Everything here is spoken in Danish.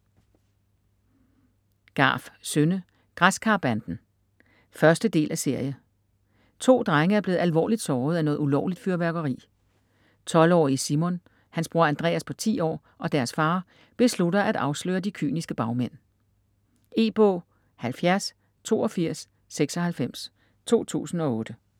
Garff, Synne: Græskarbanden 1.del af serie. To drenge er blevet alvorligt såret af noget ulovligt fyrværkeri. 12-årige Simon, hans bror Andreas på 10 år og deres far beslutter at afsløre de kyniske bagmænd. E-bog 708296 2008.